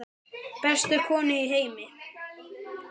Bestu konu í heimi.